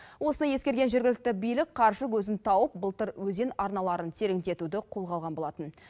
осыны ескерген жергілікті билік қаржы көзін тауып былтыр өзен арналарын тереңдетуді қолға алған болатын